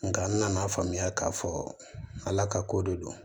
Nka n nana faamuya k'a fɔ ala ka ko de don